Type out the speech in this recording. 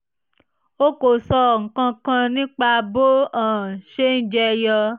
o kò sọ nǹkan kan nípa bó um ṣe ń jẹyọ